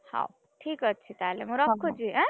ହଉ, ଠିକ୍ ଅଛି ତାହେଲେ ମୁଁ ରଖୁଛି ଏଁ।